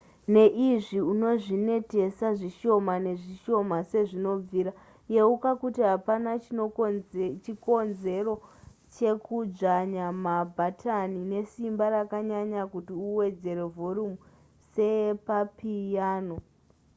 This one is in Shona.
neizvi unozvinetesa zvishoma nezvishoma sezvinobvira yeuka kuti hapana chikonzero chekudzvanya mabhatani nesimba rakanyanya kuti uwedzere vhorumu sepapiyano